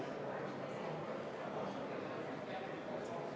Lubage mul tutvustada teile hääletamise korda.